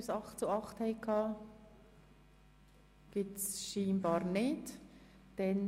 – Dies ist anscheinend nicht der Fall.